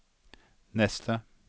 neste